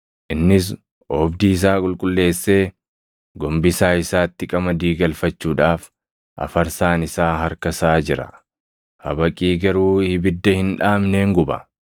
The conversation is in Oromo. Innis oobdii isaa qulqulleessee gombisaa isaatti qamadii galfachuudhaaf afarsaan isaa harka isaa jira; habaqii garuu ibidda hin dhaamneen guba.”